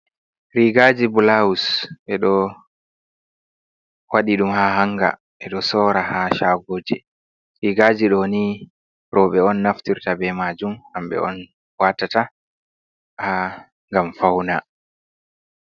Rigaji bulawus ɓe ɗo waɗi ɗum ha hanga, ɓe ɗo sorra ha shagoji. Rigaji ɗoni roɓe on naftirta be majum, hamɓe on watata ha ngam fawna.